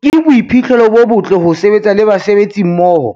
"Ke boiphihlelo bo botle ho sebetsa le basebetsi mmoho